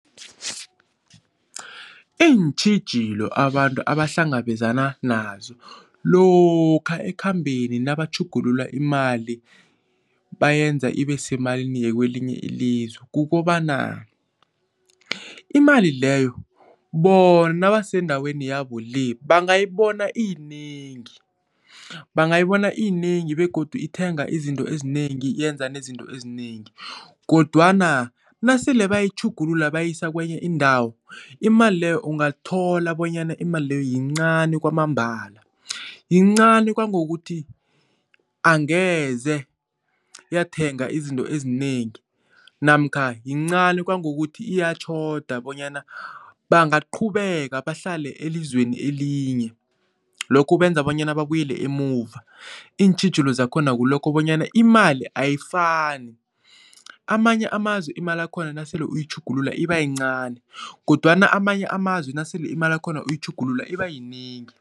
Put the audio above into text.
Iintjhijilo abantu abahlangabezana nazo lokha ekhambeni nabatjhugulula imali bayenza ibe semalini yakwelinye ilizwe. Kukobana imali leyo, bona nabasendaweni yabo le bangayibona iyinengi. Bangayibona iyinengi begodu ithenga izinto ezinengi, yenza nezinto ezinengi kodwana nasele bayitjhugulula bayisa kwenye indawo, imali leyo ungathola bonyana imali leyo yincani kwamambala. Yincani kangangokuthi angeze yathenga izinto ezinengi namkha yincani kangangokuthi iyatjhoda bonyana bangaqhubeka bahlale elizweni elinye. Lokho kwenza bonyana babuyele emuva. Iintjhijilo zakhona ngilokho bonyana imali ayifani. Amanye amazwe imali yakhona nasele uyayitjhugulula iba yincani kodwana amanye amazwe nasele imali yakhona uyayitjhugulula iba yinengi.